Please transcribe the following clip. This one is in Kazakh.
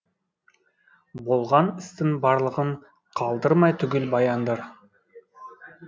болған істің барлығын қалдырмай түгел баяндар